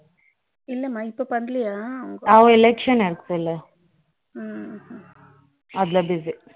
இல்ல மா இப்போ பண்ணலயா அவ election நடந்ததுல அதுல busy ம் ம்